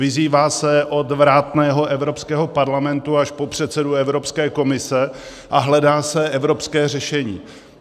Vyzývá se od vrátného Evropského parlamentu až po předsedu Evropské komise a hledá se evropské řešení.